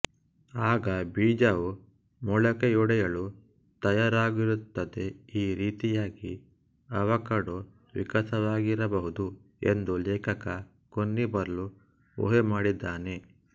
ಆಗ ಬೀಜವು ಮೊಳಕೆಯೊಡೆಯಲು ತಯಾರಾಗಿರುತ್ತದೆ ಈ ರೀತಿಯಾಗಿ ಆವಕಾಡೊ ವಿಕಾಸವಾಗಿರಬಹುದು ಎಂದು ಲೇಖಕ ಕೊನ್ನಿ ಬಾರ್ಲೊ ಊಹೆಮಾಡಿದ್ದಾನೆ